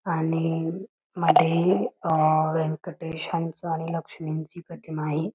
आणि मध्ये व्यंकटेशांच आणि लक्ष्मींची प्रतिमा आहे.